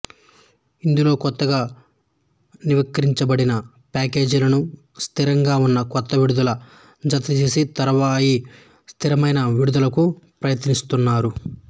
ఇందులో కొత్తగా నవీకరించబడిన ప్యాకేజీలను స్థిరంగా ఉన్న కొత్త విడుదలకు జతచేసి తరువాయి స్థిరమైన విడుదలకు ప్రయత్నిస్తారు